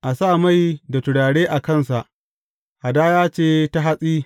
A sa mai da turare a kansa, hadaya ce ta hatsi.